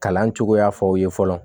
Kalan cogoya fɔw ye fɔlɔ